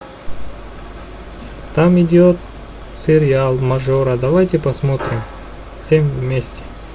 там идет сериал мажор давайте посмотрим все вместе